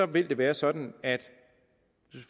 vil det være sådan